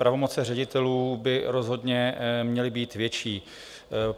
Pravomoci ředitelů by rozhodně měly být větší.